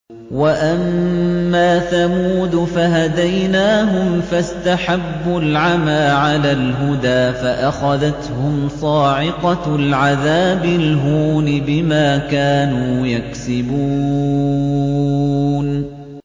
وَأَمَّا ثَمُودُ فَهَدَيْنَاهُمْ فَاسْتَحَبُّوا الْعَمَىٰ عَلَى الْهُدَىٰ فَأَخَذَتْهُمْ صَاعِقَةُ الْعَذَابِ الْهُونِ بِمَا كَانُوا يَكْسِبُونَ